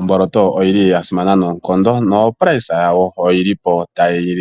Omboloto oyili ya simana noonkondo no shimaliwa shoka tolongitha otashi